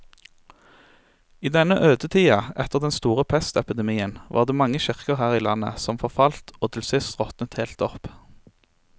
I denne ødetida etter den store pestepidemien var det mange kirker her i landet som forfalt og til sist råtnet helt opp.